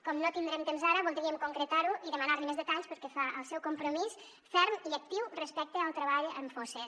com no tindrem temps ara voldríem concretar ho i demanar li més detalls pel que fa al seu compromís ferm i actiu respecte al treball en fosses